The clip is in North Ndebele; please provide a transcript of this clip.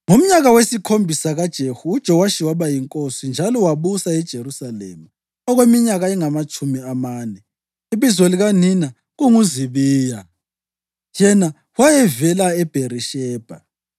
Ngomnyaka wesikhombisa kaJehu, uJowashi waba yinkosi, njalo wabusa eJerusalema okweminyaka engamatshumi amane. Ibizo likanina kunguZibiya; yena wayevela eBherishebha.